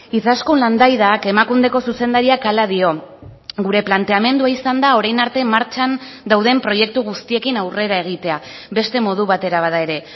izaskun landaidak emakundeko zuzendariak hala dio gure planteamendua izan da orain arte martxan dauden proiektu guztiekin aurrera egitea beste modu batera bada ere